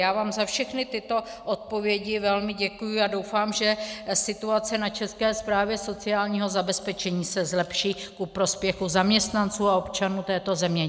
Já vám za všechny tyto odpovědi velmi děkuji a doufám, že situace na České správě sociálního zabezpečení se zlepší ku prospěchu zaměstnanců a občanů této země.